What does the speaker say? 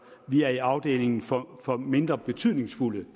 vi er i afdelingen for for mindre betydningsfulde